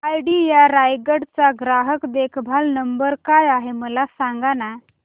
idea Raigad चा ग्राहक देखभाल नंबर काय आहे मला सांगाना